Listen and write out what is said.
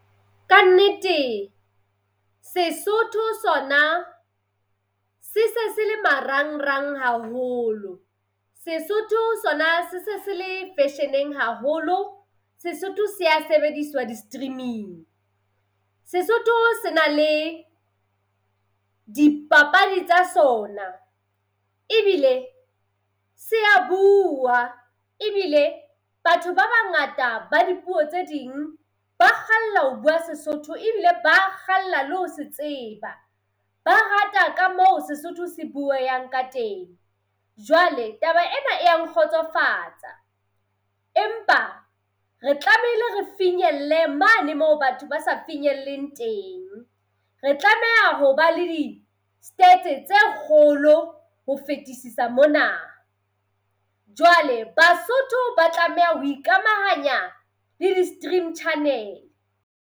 Kannete, Sesotho sona se se se le marang-rang haholo. Sesotho sona se se se le fashion-eng haholo. Sesotho sea sebediswa di-streaming. Sesotho se na le dipapadi tsa sona. Ebile sea buuwa. Ebile batho ba bangata ba dipuo tse ding ba kgalla ho bua Sesotho, ebile ba kgalla le ho se tseba. Ba rata ka moo Sesotho se bueang ka teng. Jwale, taba ena e ya nkgotsofatsa. Empa re tlamehile re finyelle mane moo batho ba sa finyelleng teng. Re tlameha hobba le di-stats-e tse kgolo ho fetesisa mona. Jwale Basotho ba tlameha ho ikamahanya le di-stream channel.